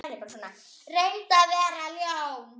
Reynir að vera ljón.